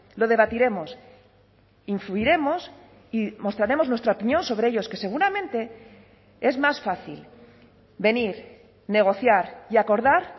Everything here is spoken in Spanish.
lo debatiremos influiremos y mostraremos nuestra opinión sobre ellos que seguramente es más fácil venir negociar y acordar